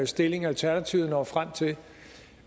stilling alternativet når frem til